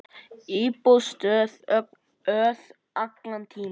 Íbúðin stóð auð allan tímann.